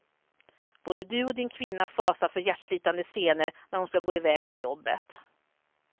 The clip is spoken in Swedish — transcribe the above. Både du och din kvinna fasar för hjärtslitande scener när hon ska gå iväg till jobbet.